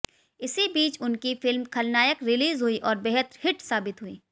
इसी बिच उनकी फिल्म खलनायक रिलीज़ हुई और बेहद हिट साबित हुई